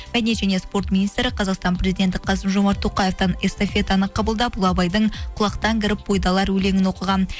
мәдениет және спорт министрі қазақстан президенті қасым жомарт тоқаевтан эстафетаны қабылдап ұлы абайдың құлақтан кіріп бойды алар өлеңін оқыған